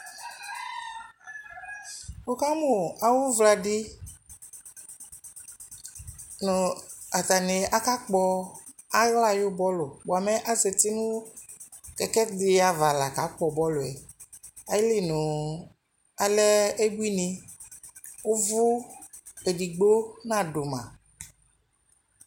wʋkamʋ awʋ ʋvla di nʋ atani aka kpɔ ala ayi bɔlʋ bʋamɛ azatinʋ kɛkɛdiaɣa la ka kpɔ bɔlʋɛ, alinʋ alɛ abʋini, ʋvʋ ɛdigbɔ nadʋ ma